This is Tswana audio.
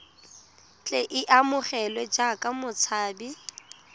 tle a amogelwe jaaka motshabi